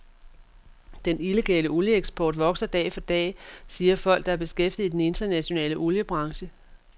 Den illegale olieeksport vokser dag for dag, siger folk, der er beskæftiget i den internationale oliebranche.